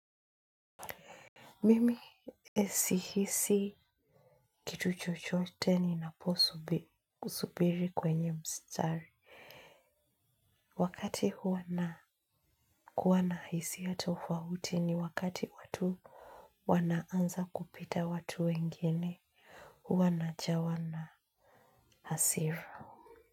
Mimi sihisi kitu chochote ninapokusubiri kwenye mstari. Wakati huo nakuwa na hisia tofauti ni wakati watu wanaanza kupita watu wengine, huwa najawa na hasira.